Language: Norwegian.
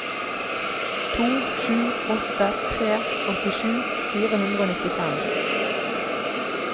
to sju åtte tre åttisju fire hundre og nittifem